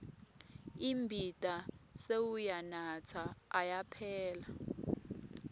imbita sewuyanatsa ayaphela